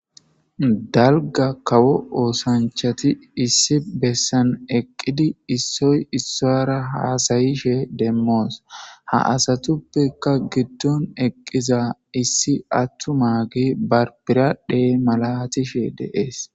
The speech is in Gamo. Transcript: Dalga kawo oosanchati issi bessan eqqidi issoy issara haasayishe demmoos ha asatuppeka giddon eqqiza issi attuma gi barbiradhe malatishe deees